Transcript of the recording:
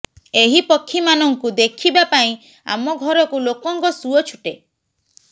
ଏହି ପକ୍ଷୀମାନଙ୍କୁ ଦେଖିବା ପାଇଁ ଆମ ଘରକୁ ଲୋକଙ୍କ ସୁଅ ଛୁଟେ